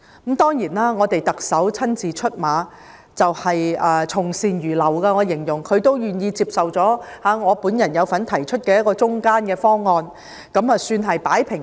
後來，特首親自出馬，從善如流，因為她願意接受我有份提出的"中間"方案，也算是"擺平"了事件。